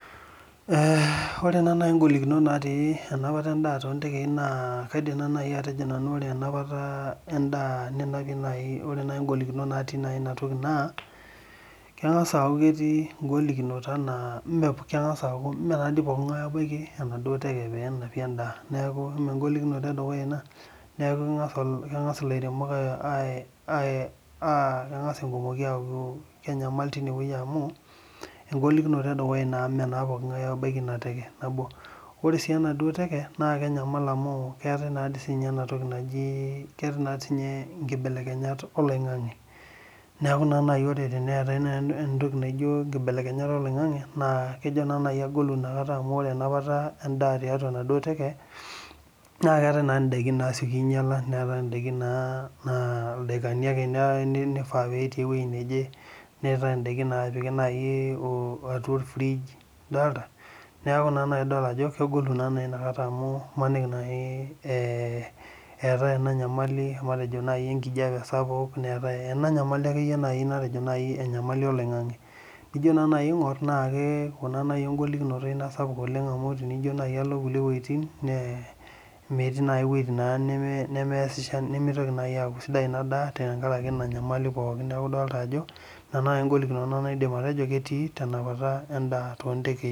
Ee ore nai ngolikinot natii enapata endaa tontekei na ore ngolikinot natii inatoki naa kengasa aaku ketii ngolikinot anaa mepokki ngae obaki enaduo teke penapie endaa neaku engolikino edukuya ina meaku kengasa lairemok aaku kenyamal irkumok tinewueji amu engolikino edukuya amu mepokki ngae obaki inewueji ore si enateke na kenyamal amu keetae si enatoki naji nibelekenyat oloingangi neaku ore teneetae nibelekenyat oloingangi na kejo agolu enapata endaa tiatua enaduo teke na keetae ndakin nasieki ainyala neetae ndakin naa ildakani ake pifaa petii ewoi neje neetae na orfige epiki idolta neaku imaniki nai eetae enanyamali matejo enkijape sapuk matejo enyamali olaingangi nijo nai aingur tenijo alo nkulie wuejitin metii wuejitin nimigil aaku kesidai inadaa tenkaraki inanyamali pooki neaku idolta ajo ina nai engolikino naidim atejo ketii tenapata endaa to tontekei.